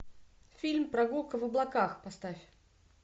фильм прогулка в облаках поставь